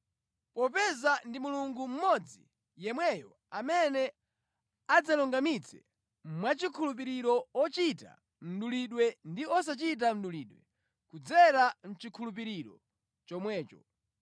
popeza ndi Mulungu mmodzi yemweyo amene adzalungamitsa mwachikhulupiriro ochita mdulidwe ndi osachita mdulidwe kudzera mʼchikhulupiriro chomwecho.